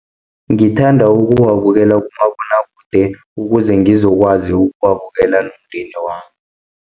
Ngithanda ukuwabukela kumabonwakude, ukuze ngizokwazi ukuwabukela nomndeni wami.